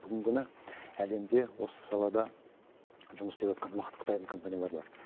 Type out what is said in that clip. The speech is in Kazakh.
бүгінгі күні әлемде осы салада жұмыс істеватқан мықты қытайдың компаниялары бар